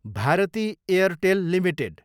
भतृ Airtel Ltd